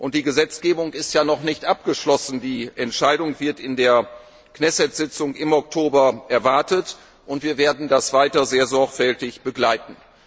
Die Gesetzgebung ist ja noch nicht abgeschlossen, die Entscheidung wird in der Knesset Sitzung im Oktober erwartet, und wir werden das weiter sehr sorgfältig begleiten.